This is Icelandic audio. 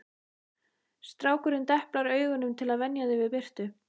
Strákurinn deplar augunum til að venja þau við birtu